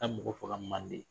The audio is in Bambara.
Ka taa mɔgɔ faga Manden.